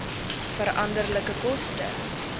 veranderlike koste